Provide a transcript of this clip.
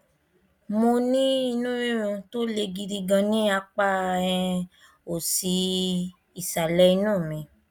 mo ní inú rírun tó le gidi gan ní apá um òsì ìsàlẹ inú mi